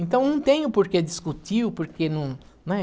Então, não tem o porquê discutir, o porquê não, né?